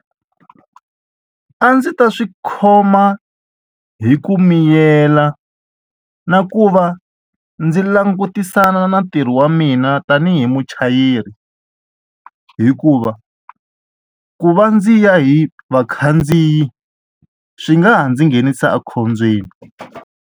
A ndzi ta swi khoma hi ku miyela na ku va ndzi langutisana na ntirho wa mina ta tanihi muchayeri hikuva ku va ndzi ya hi vakhandziyi swi nga ha ndzi nghenisa ekhombyeni.